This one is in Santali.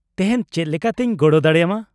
-ᱛᱮᱦᱮᱧ ᱪᱮᱫᱞᱮᱠᱟᱛᱤᱧ ᱜᱚᱲᱚ ᱫᱟᱲᱮᱭᱟᱢᱟ ?